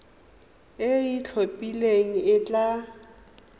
e e itlhophileng e tla